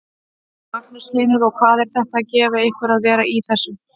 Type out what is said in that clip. Magnús Hlynur: Og hvað er þetta að gefa ykkur að vera í þessu?